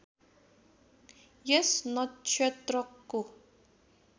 यस नक्षत्रको